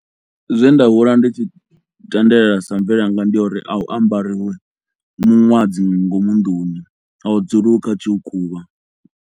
Zwe nda hula ndi tshi tendelela sa mvelele yanga ndi ya uri a hu ambariwi muṅwadzi ngomu nduni, a hu dzuliwi kha tshiukhuvha.